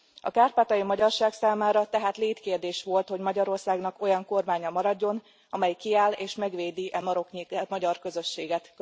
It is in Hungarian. A kárpátaljai magyarság számára tehát létkérdés volt, hogy Magyarországnak olyan kormánya maradjon, amelyik kiáll és megvédi e maroknyi magyar közösséget.